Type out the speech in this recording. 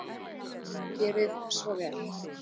Gerið svo vel!